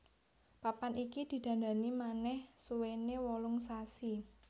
Papan iki didandani manèh suwéné wolung sasi